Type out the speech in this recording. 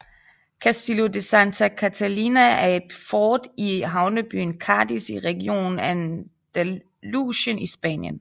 Castillo de Santa Catalina er et fort i havnebyen Cadiz i regionen Andalusien i Spanien